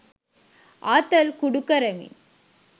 ආතල් කුඩු කරමින්